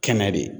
Kɛnɛ de